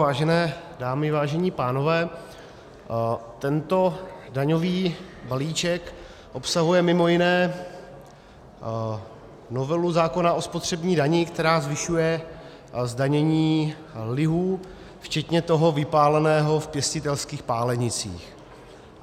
Vážené dámy, vážení pánové, tento daňový balíček obsahuje mimo jiné novelu zákona o spotřební dani, která zvyšuje zdanění lihu, včetně toho vypáleného v pěstitelských pálenicích.